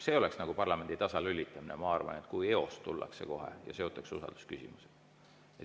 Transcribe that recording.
See oleks nagu parlamendi tasalülitamine, ma arvan, kui tullakse ja kohe eos seotakse usaldusküsimusega.